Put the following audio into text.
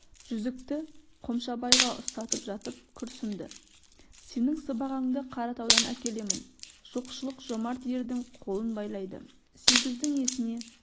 жүзікті қомшабайға ұстатып жатып күрсінді сенің сыбағаңды қаратаудан әкелемін жоқшылық жомарт ердің қолын байлайды сегіздің есіне